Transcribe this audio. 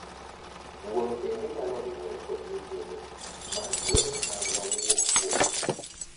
Wuoro bende nyalo riwore kod nyithinde mar kwedo sand ma wuok kuom miyo.